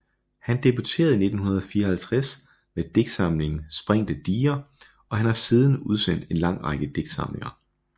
Han debuterede i 1954 med digtsamlingen Sprængte diger og han har siden udsendt en lang række digtsamlinger